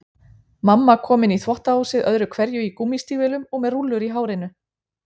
Mamma kom inn í þvottahúsið öðru hverju í gúmmístígvélum og með rúllur í hárinu.